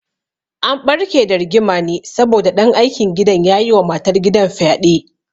An ɓarke da rigima ne saboda ɗan aikin gidan ya yi wa matar gidan fyaɗe